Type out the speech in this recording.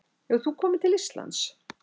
Hefur þú komið til Íslands?